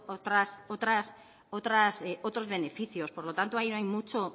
otros beneficios por lo tanto ahí no hay